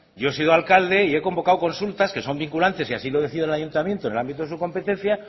yo he sido alcalde y he convocado consultas que son vinculantes si así lo decide el ayuntamiento en el ámbito de su competencia